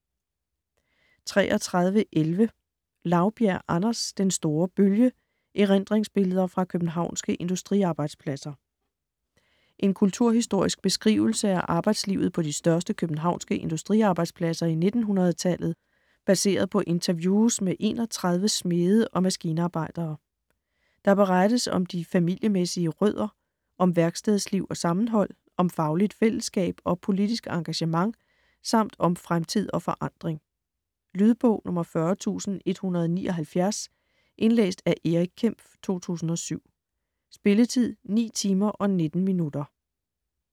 33.11 Laubjerg, Anders: Den store bølge: erindringsbilleder fra københavnske industriarbejdspladser En kulturhistorisk beskrivelse af arbejdslivet på de største københavnske industriarbejdspladser i 1900-tallet, baseret på interviews med 31 smede og maskinarbejdere. Der berettes om de familiemæssige rødder, om værkstedsliv og sammenhold, om fagligt fællesskab og politisk engagement samt om fremtid og forandring. Lydbog 40179 Indlæst af Erik Kempf, 2007. Spilletid: 9 timer, 19 minutter.